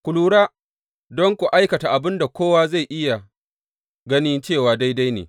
Ku lura don ku aikata abin da kowa zai iya gani cewa daidai ne.